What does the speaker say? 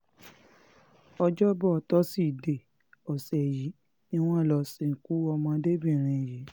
ọjọ́bọ̀ tọ́sídẹ̀ẹ́ ọ̀sẹ̀ yìí ni wọ́n lọ́ọ́ sìnkú ọmọdébìnrin yìí